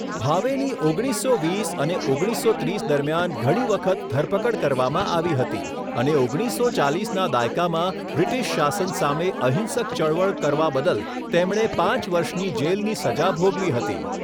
ભાવેની ઓગણીસો વીસ અને ઓગણીસસો ત્રીસ દરમિયાન ઘણી વખત ધરપકડ કરવામાં આવી હતી અને ઓગણીસસો ચાલીસના દાયકામાં બ્રિટિશ શાસન સામે અહિંસક ચળવળ કરવા બદલ તેમણે પાંચ વર્ષની જેલની સજા ભોગવી હતી.